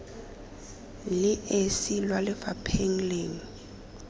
le esi kwa lefapheng lengwe